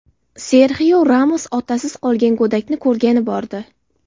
Serxio Ramos otasiz qolgan go‘dakni ko‘rgani bordi.